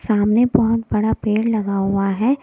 सामने बहुत बड़ा पेड़ लगा हुआ है।